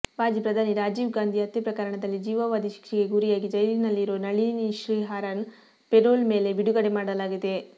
ಮಾಜಿ ಪ್ರಧಾನಿ ರಾಜೀವ್ ಗಾಂಧಿ ಹತ್ಯೆಪ್ರಕರಣದಲ್ಲಿ ಜೀವಾವಧಿ ಶಿಕ್ಷೆಗೆ ಗುರಿಯಾಗಿ ಜೈಲಿನಲ್ಲಿರೋ ನಳಿನಿ ಶ್ರೀಹರನ್ ಪೆರೋಲ್ ಮೇಲೆ ಬಿಡುಗಡೆ ಮಾಡಲಾಗಿದೆ